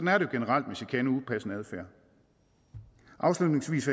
er det generelt med chikane og upassende adfærd afslutningsvis